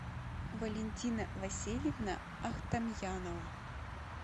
валентина васильевна ахтамьянова